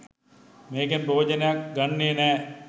මේකෙන් ප්‍රයෝජනයක් ගන්නෙ නෑ.